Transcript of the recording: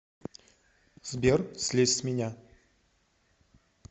сбер слезь с меня